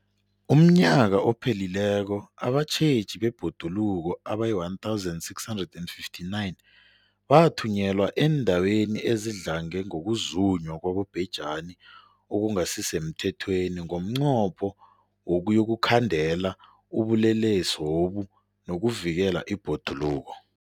UmNnyaka ophelileko abatjheji bebhoduluko abayi-1 659 bathunyelwa eendaweni ezidlange ngokuzunywa kwabobhejani okungasi semthethweni ngomnqopho wokuyokukhandela ubulelesobu nokuvikela ibhoduluko.